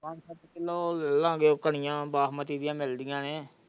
ਪੰਜ ਸੱਤ ਕਿਲੋ ਲੈ ਲਾ ਗਏ ਕਣੀਆਂ ਬਾਸਮਤੀ ਦੀਆਂ ਮਿਲਦੀਆਂ ਨੇ।